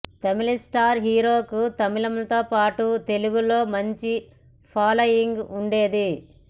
తమిళ star హీరోకు తమిళంలో పాటు తెలుగులో మంచి ఫాలోయింగ్ ఉండేది